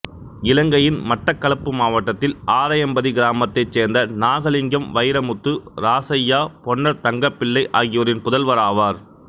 இலங்கையின் மட்டக்களப்பு மாவட்டத்தில் ஆரையம்பதி கிராமத்தைச் சேர்ந்த நாகலிங்கம் வைரமுத்து இராசையா பொன்னர் தங்கப்பிள்ளை ஆகியோரின் புதல்வராவார்